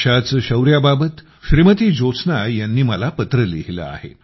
अशा शौर्याबाबत श्रीमती ज्योत्स्ना यांनी मला पत्र लिहिले आहे